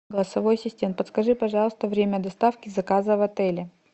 голосовой ассистент подскажи пожалуйста время доставки заказа в отеле